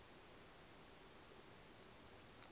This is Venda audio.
nn ḓ a ha u